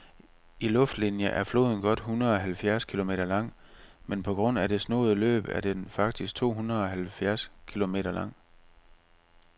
I luftlinie er floden godt hundredeoghalvfjerds kilometer lang, men på grund af det snoede løb er den faktisk tohundredeoghalvtreds kilometer lang.